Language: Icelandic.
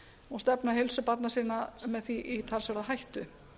og stefna heilsu barna sinna með því í talsverða hættu